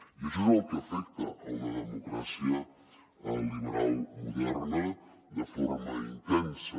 i això és el que afecta una democràcia liberal moderna de forma intensa